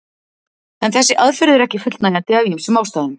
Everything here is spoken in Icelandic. En þessi aðferð er ekki fullnægjandi af ýmsum ástæðum.